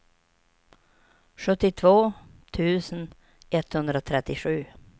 sjuttiotvå tusen etthundratrettiosju